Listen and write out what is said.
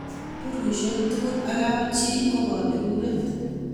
berushiek tugul ak kap chii ko kaberuret